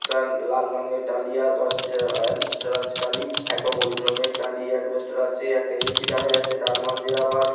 একটা লাল রঙের টালি আর দরজা -এডবেস্টার আছে টালি একটা হলুদ রঙ্গের টালি এডবেস্টার আছে একটা এ.সি দেখা যাচ্ছে তার মাঝে আবার--